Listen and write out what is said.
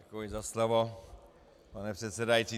Děkuji za slovo, pane předsedající.